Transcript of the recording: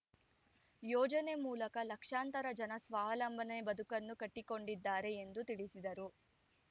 ಯೋಜನೆ ಮೂಲಕ ಲಕ್ಷಾಂತರ ಜನ ಸ್ವಾವಲಂಬನೆ ಬದುಕನ್ನು ಕಟ್ಟಿಕೊಂಡಿದ್ದಾರೆ ಎಂದು ತಿಳಿಸಿದರು